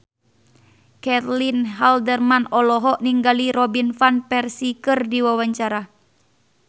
Caitlin Halderman olohok ningali Robin Van Persie keur diwawancara